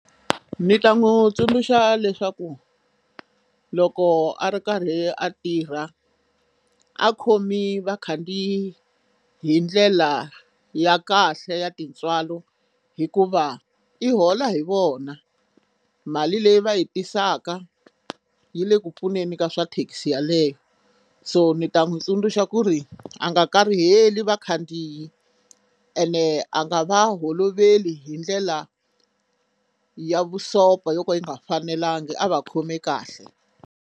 Ni ta n'wi tsundzuxa leswaku loko a ri karhi a tirha a khomi vakhandziyi hi ndlela ya kahle ya tintswalo hikuva i hola hi vona mali leyi va yi tisaka yi le ku pfuneni ka swa thekisi yaleyo so ni ta n'wi tsundzuxa ku ri a nga kariheliwi vakhandziyi ene a nga va holoveli hi ndlela ya vusopfa yo ka yi nga fanelangi a va khomi kahle.